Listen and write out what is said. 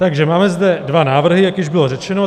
Takže zde máme dva návrhy, jak již bylo řečeno.